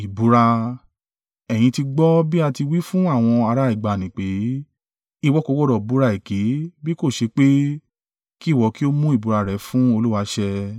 “Ẹ̀yin ti gbọ́ bí a ti wí fún àwọn ará ìgbàanì pé, ‘Ìwọ kò gbọdọ̀ búra èké bí kò ṣe pé kí ìwọ kí ó mú ìbúra rẹ̀ fún Olúwa ṣẹ.’